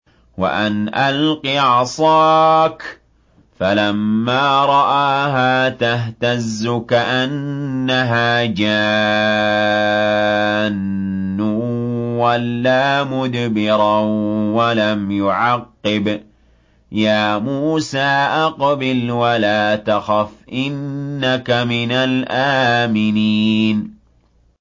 وَأَنْ أَلْقِ عَصَاكَ ۖ فَلَمَّا رَآهَا تَهْتَزُّ كَأَنَّهَا جَانٌّ وَلَّىٰ مُدْبِرًا وَلَمْ يُعَقِّبْ ۚ يَا مُوسَىٰ أَقْبِلْ وَلَا تَخَفْ ۖ إِنَّكَ مِنَ الْآمِنِينَ